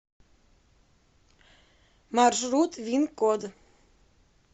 маршрут вин код